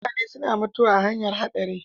Mutane suna mutuwa ta hanyar haɗari.